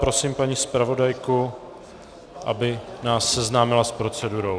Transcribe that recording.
Prosím paní zpravodajku, aby nás seznámila s procedurou.